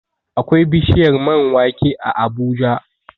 Akwai bishiyar man wake a Abuja